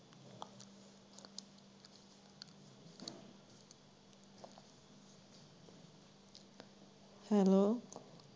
Hello.